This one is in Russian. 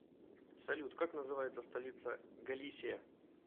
салют как называется столица галисия